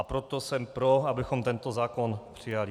A proto jsem pro, abychom tento zákon přijali.